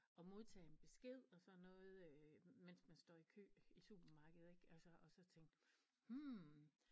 Og modtage en besked og sådan noget øh mens man står i kø i supermarkedet ik altså og så tænke hm